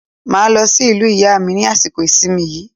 Mo máa lọ sí ìlú ìyá mi ní àsìkò ìsìnmi yìí.